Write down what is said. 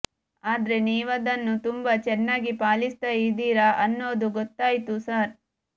ಆದ್ರೆ ನೀವದನ್ನು ತುಂಬಾ ಚೆನ್ನಾಗಿ ಪಾಲಿಸ್ತಾ ಇದೀರಾ ಅನ್ನೋದು ಗೊತ್ತಾಯ್ತು ಸಾರ್